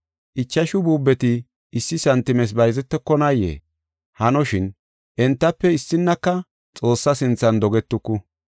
Ichashu buubeti issi santimes bayzetokonayee? Hanoshin, entafe issinnaka Xoossaa sinthan dogetuku.